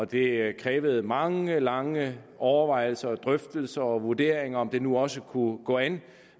det krævede mange lange overvejelser og drøftelser og vurderinger af om det nu også kunne gå an